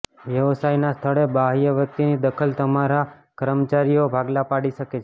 વ્યવસાયના સ્થળે બાહ્ય વ્યક્તિની દખલ તમારા કર્મચારીઓમાં ભાગલા પાડી શકે છે